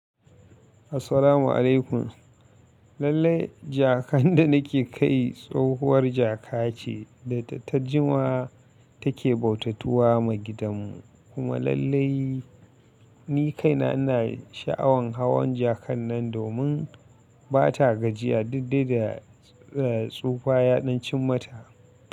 Assalamu alaykum. Lallai jakan da nake kai tsohuwar jaka ce da ta jima take bautatuwa ma gidanmu kuma lallai ni kaina ina sha'awan hawan jakan nan domin ba ta gajiya didde da tsufa ya danci mata.